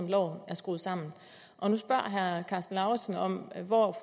loven er skruet sammen på nu spørger herre karsten lauritzen om hvor